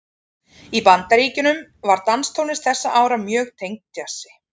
Í Bandaríkjunum var danstónlist þessara ára mjög tengd djassi.